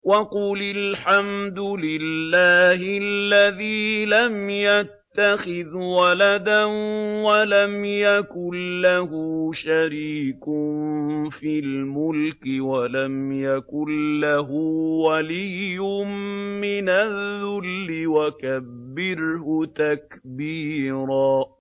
وَقُلِ الْحَمْدُ لِلَّهِ الَّذِي لَمْ يَتَّخِذْ وَلَدًا وَلَمْ يَكُن لَّهُ شَرِيكٌ فِي الْمُلْكِ وَلَمْ يَكُن لَّهُ وَلِيٌّ مِّنَ الذُّلِّ ۖ وَكَبِّرْهُ تَكْبِيرًا